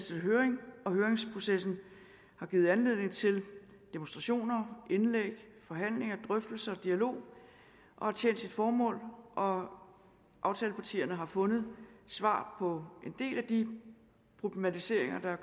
til høring og høringsprocessen har givet anledning til demonstrationer indlæg forhandlinger drøftelser dialog og har tjent sit formål og aftalepartierne har fået svar på en del af de problematiseringer der